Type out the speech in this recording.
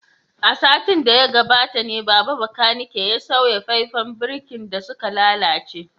A satin da ya gabata ne Baba bakanike ya sauya faifan birkin da suka lalace